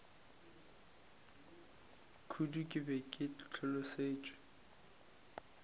kudu ke be ke hlolosetšwe